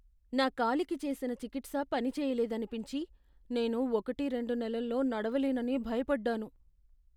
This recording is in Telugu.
నా కాలికి చేసిన చికిత్స పనిచేయలేదనిపించి, నేను ఒకటి రెండు నెలల్లో నడవలేనని భయపడ్డాను.